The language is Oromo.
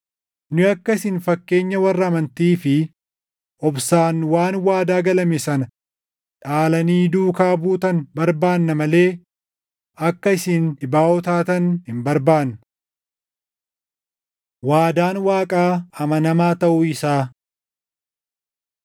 Nu akka isin fakkeenya warra amantii fi obsaan waan waadaa galame sana dhaalanii duukaa buutan barbaanna malee akka isin dhibaaʼoo taatan hin barbaannu. Waadaan Waaqaa Amanamaa Taʼuu Isaa